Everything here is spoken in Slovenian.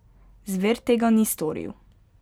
Zver tega ni storil.